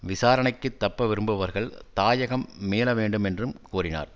விசாரணைக்குத் தப்ப விரும்புபவர்கள் தாயகம் மீள வேண்டும் என்றும் கூறினார்